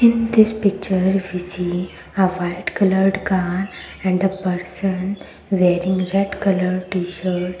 in this picture we see a white coloured car and a person wearing red colour t-shirt.